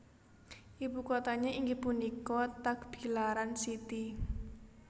Ibu kotanya inggih punika Tagbilaran City